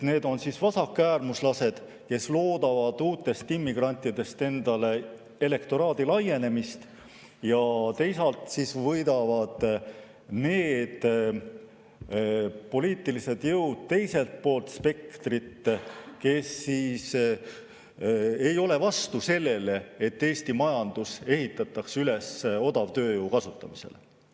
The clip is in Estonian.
Need on vasakäärmuslased, kes loodavad uutest immigrantidest enda elektoraadi laienemist, ja teisalt võidavad need poliitilised jõud spektri teisel pool, kes ei ole vastu sellele, et Eesti majandus ehitatakse üles odavtööjõu kasutamisele.